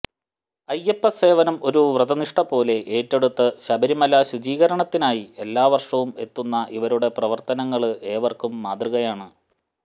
അയ്യപ്പസേവനം ഒരു വ്രതനിഷ്ഠപോലെ ഏറ്റെടുത്ത് ശബരിമല ശുചീകരണത്തിനായി എല്ലാവര്ഷവും എത്തുന്ന ഇവരുടെ പ്രവര്ത്തനങ്ങള് ഏവര്ക്കും മാതൃകയാണ്